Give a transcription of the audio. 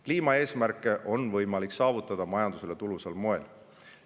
Kliimaeesmärke on võimalik saavutada majandusele tulusal moel.